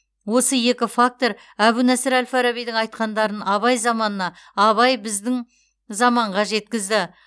осы екі фактор әбу насыр әл фарабидің айтқандарын абай заманына абай біздің заманға жеткізді